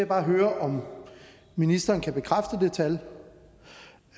bare høre om ministeren kan bekræfte det tal